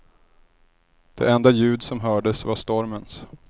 Det enda ljud som hördes var stormens.